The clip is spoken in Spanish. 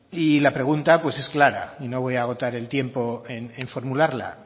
y la pregunta es clara y no voy a agotar el tiempo en formularla